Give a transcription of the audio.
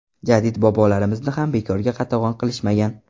Jadid bobolarimizni ham bekorga qatag‘on qilishmagan.